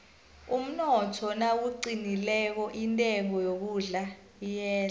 umnotho nawuqinileko intengo yokudla iyehla